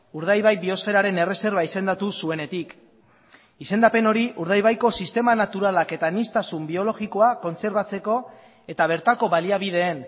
urdaibai biosferaren erreserba izendatu zuenetik izendapen hori urdaibaiko sistema naturalak eta aniztasun biologikoa kontserbatzeko eta bertako baliabideen